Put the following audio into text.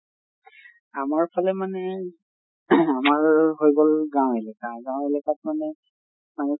আমাৰ ফালে মানে ing আমাৰ হৈ গʼল গাওঁ এলেকা। গাওঁ এলেকাত মানে আমি